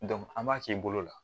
an b'a k'i bolo la